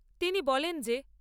তিনি বলেন যে